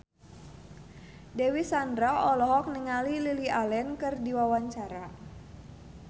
Dewi Sandra olohok ningali Lily Allen keur diwawancara